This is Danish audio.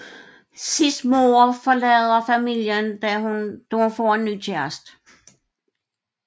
Sids mor forlader familien da hun får en ny kæreste